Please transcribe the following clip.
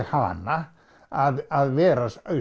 hana að vera